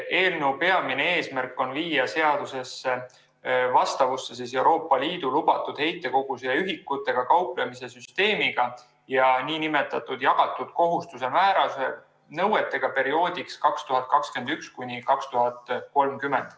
Eelnõu peamine eesmärk on viia seadus vastavusse Euroopa Liidu lubatud heitkoguse ühikutega kauplemise süsteemiga ja nn jagatud kohustuse määruse nõuetega perioodiks 2021–2030.